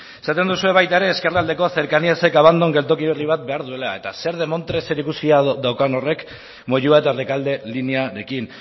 esaten duzue baita ere ezkerraldekoa cercaníasek abandon geltoki berri bat behar duela eta zer demontre zerikusia daukan horrek moyua eta rekalde linearekin